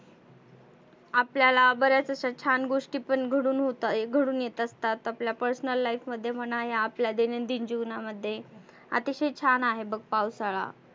आपल्याला बऱ्याच आशा छान गोष्टी पण घडुन होतात घडुन येतात असतात. आपल्या personal life मध्ये म्हणा आणि आपल्या दैनंदीन जिवनामध्ये आतिशय छान आहे बघ पावसाळा.